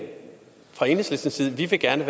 fra enhedslistens side gerne